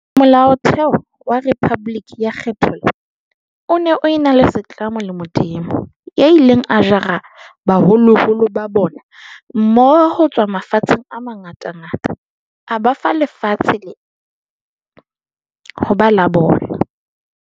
Molaotheo wa rephaboliki ya kgethollo o ne o ena setlamo le Modimo, "ya ileng a jara baholoholo ba bona mmoho ho tswa mafatsheng a mangatangata a ba fa lena lefatshe ho ba la bona".